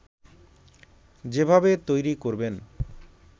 যেভাবে তৈরি করবেন